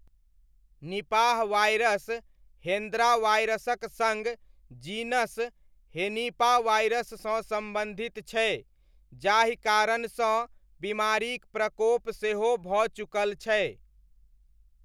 Nipah virus Hendra वायरसक सङ्ग genus हेनिपावायरससँ सम्बन्धित छै, जाहि कारणसँ बीमारीक प्रकोप सेहो भऽ चुकल छै।